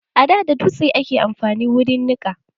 A da dotse ake amfani da wurin nika.